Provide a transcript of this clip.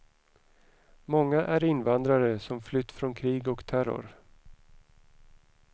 Många är invandrare som flytt från krig och terror.